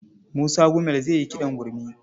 Musa Gumel zai yi kiɗan gurmi.